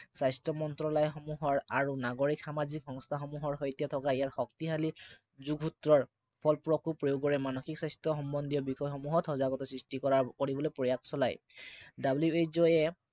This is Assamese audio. স্বাস্থ্য় মন্ত্ৰালয়সমূহৰ আৰু নাগৰিক সামাজিক সংস্থাসমূহৰ সৈতে থকা ইয়াৰ শক্তিশালী যোগসুত্ৰৰ ফলপ্ৰসু প্ৰয়োগেৰে মানসিক স্বাস্থ্য় সম্বন্ধীয় বিষয়সমূহত সজাগতা সৃষ্টি কৰাৰ কৰিবলৈ প্ৰয়াস চলায়। WHO এ